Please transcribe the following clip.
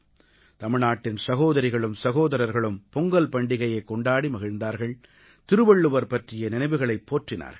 தமிழ்நாட்டின் சகோதரிகளும் சகோதரர்களும் பொங்கல் பண்டிகையைக் கொண்டாடி மகிழ்ந்தார்கள் திருவள்ளுவர் பற்றிய நினைவுகளைப் போற்றினார்கள்